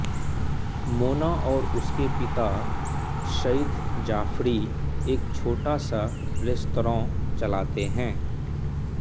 मोना और उसके पिता सईद जाफ़री एक छोटा सा रेस्तराँ चलाते हैं